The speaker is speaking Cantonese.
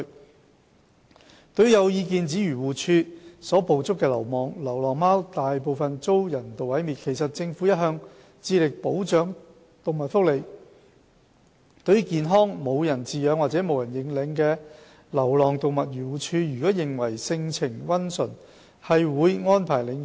二對於有意見指漁農自然護理署所捕捉的流浪貓大部分均遭人道毀滅，其實政府一向致力保障動物福利，對於健康而無人飼養或無人認領的流浪動物，漁護署如認為其性情溫馴，便會安排領養。